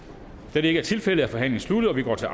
da det ikke er tilfældet er forhandlingen sluttet og vi går til